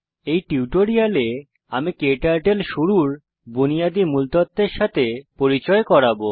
এই টিউটোরিয়ালে আমি ক্টার্টল শুরুর বুনিয়াদি মূল তথ্যের সাথে পরিচয় করাব